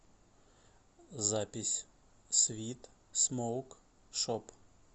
запись свит смоук шоп